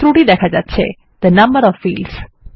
ত্রুটি দেখা যাচ্ছে থে নাম্বার ওএফ fields